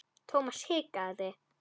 Thomas hikaði.